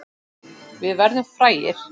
Við verðum frægir.